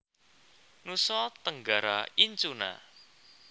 Nusa Tenggara Incuna